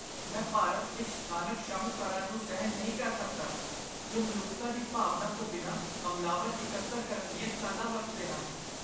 ਮੈਂ ਭਾਰਤ ਵਿੱਚ ਸਥਾਨਕ ਸ਼ਾਹੂਕਾਰਾਂ ਨੂੰ ਸਹਿਣ ਨਹੀਂ ਕਰ ਸਕਦਾ ਜੋ ਮਨੁੱਖਤਾ ਦੀ ਭਾਵਨਾ ਤੋਂ ਬਿਨਾਂ ਹਮਲਾਵਰ ਇਕੱਤਰ ਕਰਨ ਦੀਆਂ ਚਾਲਾਂ ਵਰਤਦੇ ਹਨ।